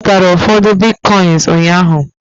ọ zụtara ụfọdụ Bitcoins ụnyaahụ